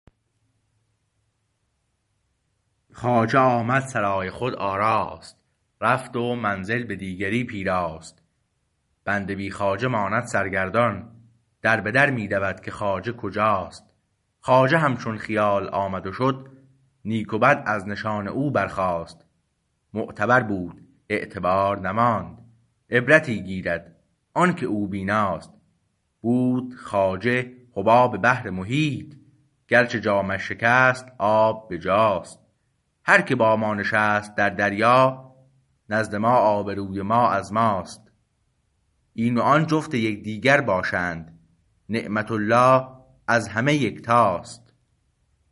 خواجه آمد سرای خود آراست رفت و منزل به دیگری پیراست بنده بی خواجه ماند سر گردان در به در می دود که خواجه کجاست خواجه همچون خیال آمد و شد نیک و بد از نشان او برخواست معتبر بود اعتبار نماند عبرتی گیرد آنکه او بیناست بود خواجه حباب بحر محیط گرچه جامش شکست آب به جاست هر که با ما نشست در دریا نزد ما آبروی ما از ماست این و آن جفت یکدیگر باشند نعمت الله از همه یکتاست